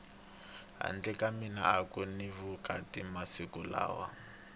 handle ka mali aku ni vukati masiku lawa